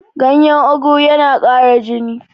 ganyen ogu yana Kara jini